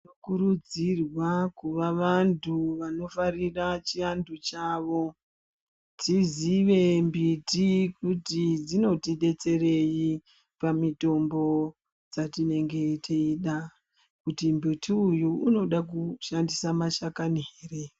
Tinokurudzirwa kuva vanthu vanofarira chianthu chavo tizive mbiti kuti dzinotidetserei pamitombo dzetinenge teida kuti mumbuti uyu unoda kushandisa mashakani ere.